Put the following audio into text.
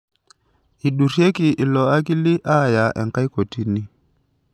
Eidurieki ilo akili aaya enkae kotini.